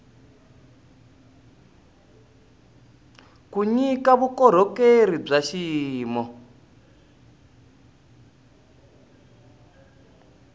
ku nyika vukorhokeri bya xiyimo